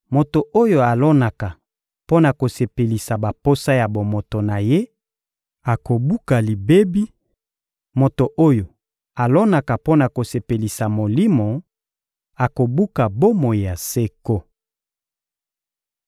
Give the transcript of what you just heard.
Moto oyo alonaka mpo na kosepelisa baposa ya bomoto na ye akobuka libebi, moto oyo alonaka mpo na kosepelisa Molimo akobuka bomoi ya seko.